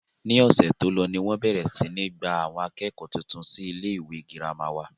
ní ọ̀sẹ̀ tó lọ ni wọ́n bẹ̀rẹ̀ sí ní gba àwọn akẹ́kọ̀ọ́ tuntun wolé sí ilé ìwé girama wà